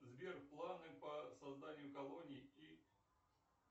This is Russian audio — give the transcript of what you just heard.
сбер планы по созданию колоний и